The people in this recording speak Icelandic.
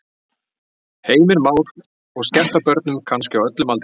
Heimir Már: Og skemmta börnum kannski á öllum aldri?